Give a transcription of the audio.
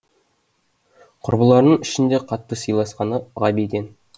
құрбыларының ішінде қатты сыйласқаны ғабиден